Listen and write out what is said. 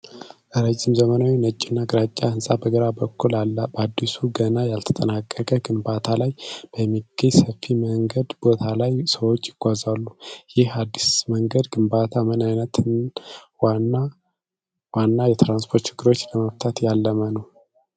ረጅም ዘመናዊ ነጭና ግራጫ ሕንፃ በግራ በኩል አለ፣ በአዲሱ፣ ገና ያልተጠናቀቀ፣ ግንባታ ላይ በሚገኝ ሰፊ የመንገድ ቦታ ላይ ሰዎች ይጓዛሉ። ይህ አዲስ የመንገድ ግንባታ ምን ዓይነት ዋና ዋና የትራንስፖርት ችግሮችን ለመፍታት ያለመ ነው?